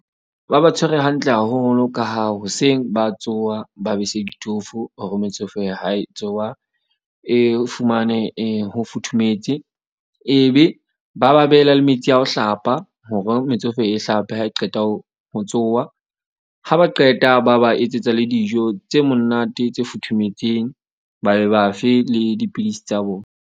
Ba ba tshwere hantle haholo ka ha hoseng, ba tsoha, ba bese ditofo. Hore metsofe ya hae tsoha e fumane e ho futhumetse. Ebe ba ba beela le metsi a ho hlapa, hore metsofe e hlape ha e qeta ho tsoha. Ha ba qeta ba ba etsetsa le dijo tse monate tse futhumetseng, ba be ba fe le dipidisi tsa bona.